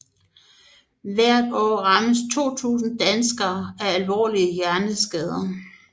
Hvert år rammes 2000 danskere af alvorlige hjerneskader